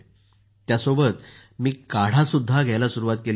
आणि त्यासोबतच मी काढाही घ्यायला सुरुवात केली होती